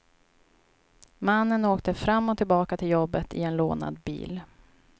Mannen åkte fram och tillbaka till jobbet i en lånad bil.